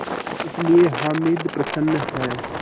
इसलिए हामिद प्रसन्न है